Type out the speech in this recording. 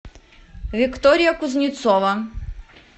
виктория кузнецова